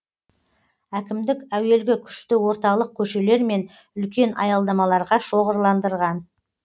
әкімдік әуелгі күшті орталық көшелер мен үлкен аялдамаларға шоғырландырған